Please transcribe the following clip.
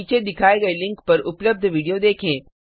नीचे दिखाए गए लिंक पर उपलब्ध विडियो देखें